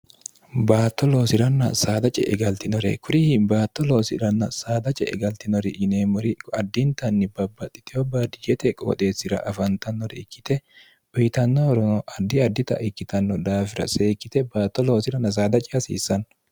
baatto loosi'ranna saada ce e galtinore kurihi baatto loosiranna saada ce'e galtinori yineemmori kuaddintanni babbaxxiteyo badijete qooxeessira afantannore ikkite boyitannohorono addi addita ikkitanno daafira seekkite baatto loosirann saadaci hasiissanno